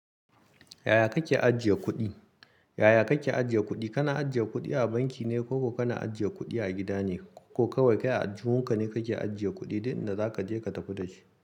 Yaya kake ajiye kuɗi? Yaya kake ajiye kuɗi? Kana ajiye kudi abanki ne koko na ajiye kudi a gida ne ko kawai kai a juyunka ne kake ajiye kuɗi, duk inda zaka je ka tafi da shi.